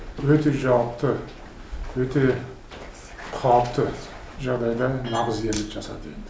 өте жауапты өте қауіпті жағдайда нағыз ерлік жасады